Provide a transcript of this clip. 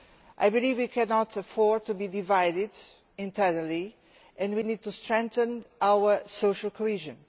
I believe we cannot afford to be divided internally and we need to strengthen our social cohesion.